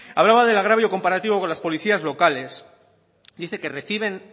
hablaba del agravio comparativo con las policías locales dice que reciben